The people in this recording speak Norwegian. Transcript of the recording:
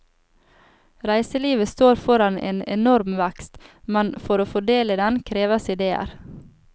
Reiselivet står foran en enorm vekst, men for å få del i den, kreves idéer.